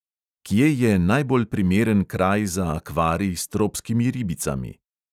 Kje je najbolj primeren kraj za akvarij s tropskimi ribicami?